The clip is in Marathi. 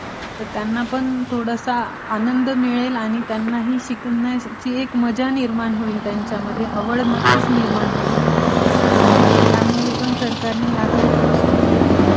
त्यंनापण थोडं असा आनंद मिळेल आणि त्यांनाही शिकण्याची एक मजा निर्माण होईल, आवड निर्माण होईल. त्यामुळे पण सरकारन ह्याकडे लक्ष दिले.